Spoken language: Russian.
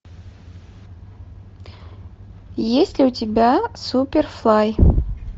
есть ли у тебя суперфлай